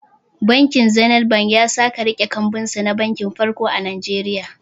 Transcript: Bankin zinet ya sake riƙe kambunsa na banki farko a Nigeria